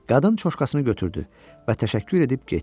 Qadın çuşkasını götürdü və təşəkkür edib getdi.